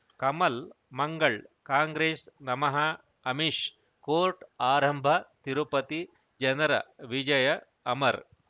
ಕಮಲ್ ಮಂಗಳ್ ಕಾಂಗ್ರೆಸ್ ನಮಃ ಅಮಿಷ್ ಕೋರ್ಟ್ ಆರಂಭ ತಿರುಪತಿ ಜನರ ವಿಜಯ ಅಮರ್